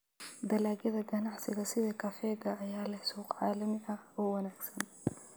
Dalagyada ganacsiga sida kafeega ayaa leh suuq caalami ah oo wanaagsan.